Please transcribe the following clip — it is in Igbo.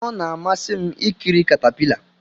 Ọ na-amasị m ikiri katapila.